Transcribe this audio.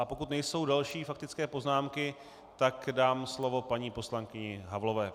A pokud nejsou další faktické poznámky, tak dám slovo paní poslankyni Havlové.